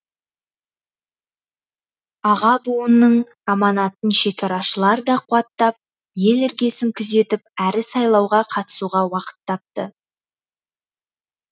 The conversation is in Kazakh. аға буынның аманатын шекарашылар да қуаттап ел іргесін күзетіп әрі сайлауға қатысуға уақыт тапты